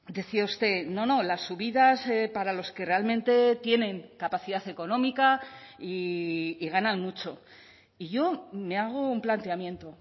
decía usted no no las subidas para los que realmente tienen capacidad económica y ganan mucho y yo me hago un planteamiento